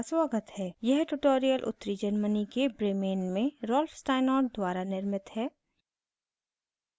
यह ट्यूटोरियल उत्तरी germany के bremen में rolf steinort द्वारा निर्मित है